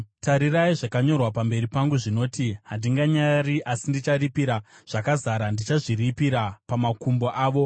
“Tarirai, zvakanyorwa pamberi pangu zvinoti: Handinganyarari asi ndicharipira zvakazara; ndichazviripa pamakumbo avo,